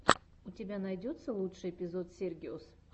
у тебя найдется лучший эпизод сергиос